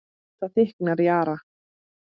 Það þykknar í Ara